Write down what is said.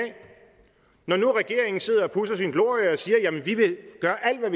når nu regeringen sidder og pudser sin glorie og siger at de vil gøre alt hvad